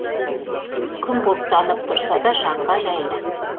күн бұлттанып тұрса да жанға жайлы